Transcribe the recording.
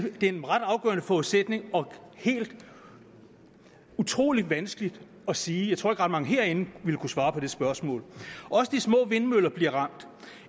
er en ret afgørende forudsætning og helt utrolig vanskeligt at sige jeg tror ikke at ret mange herinde ville kunne svare på det spørgsmål også de små vindmøller bliver ramt